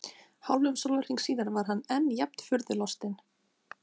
Hálfum sólarhring síðar var hann enn jafn furðu lostinn.